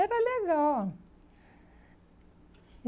Era legal.